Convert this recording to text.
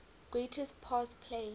greatest pass play